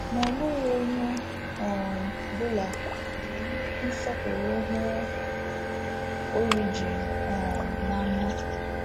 Ma ọ bụghị onye ọ um bụla jiri nnukwu nsọpụrụ hụ Origen um n’anya.